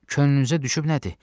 Könlünüzə düşüb nədir?